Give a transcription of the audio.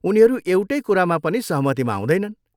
उनीहरू एउटै कुरामा पनि सहमतिमा आउँदैनन्।